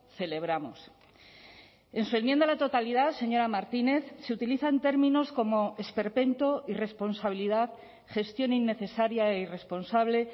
celebramos en su enmienda a la totalidad señora martínez se utilizan términos como esperpento irresponsabilidad gestión innecesaria e irresponsable